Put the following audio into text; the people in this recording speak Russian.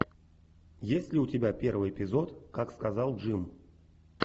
есть ли у тебя первый эпизод как сказал джим